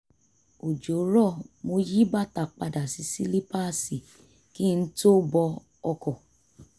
òjò rọ̀ mo yí bàtà padà sí sílípáàsì kí n tó bọ ọkọ̀